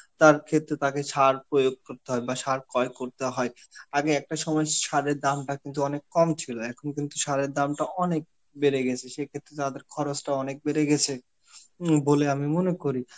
তার ক্ষেত্রে তাকে সার প্রয়োগ করতে হয় বা সারকয় করতে হয়. আগে একটা সময় সারের দামটা কিন্তু অনেক কম ছিল, এখন কিন্তু সারের দামটা অনেক বেড়ে গেছে, সেই ক্ষেত্রে তাদের খরচটাও অনেক বেড়ে গেছে, হম বলে আমি মনে করি.